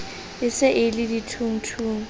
e se e le dithungthung